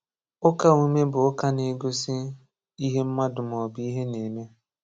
Ụka omume bụ ụka na-egosi ihe mmadụ maọbụ ihe na-eme.